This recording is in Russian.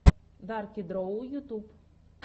дарки дроу ютюб